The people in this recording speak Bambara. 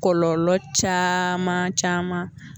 Kɔlɔlɔ caman caman